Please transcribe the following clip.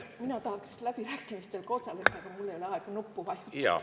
Mina tahaks ka läbirääkimistel osaleda, aga mul ei ole aega nuppu vajutada.